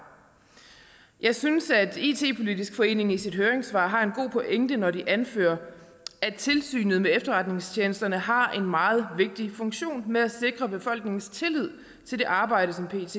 jeg synes at it politisk forening i sit høringssvar har en god pointe når de anfører at tilsynet med efterretningstjenesterne har en meget vigtig funktion med at sikre befolkningens tillid til det arbejde som pet